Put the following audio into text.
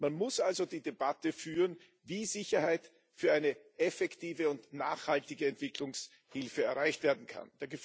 Man muss also die Debatte führen, wie Sicherheit für eine effektive und nachhaltige Entwicklungshilfe erreicht werden kann.